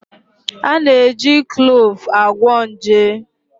A na-eji Kluuv agwọ nje